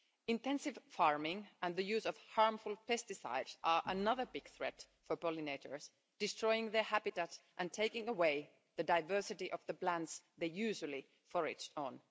Intensive farming and the use of harmful pesticides are another big threat for pollinators, destroying their habitat and taking away the diversity of the plants they usually forage on.